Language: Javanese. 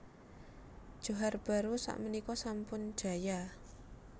Johar Baru sak menika sampun jaya